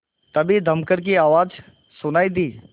तभी दमकल की आवाज़ सुनाई दी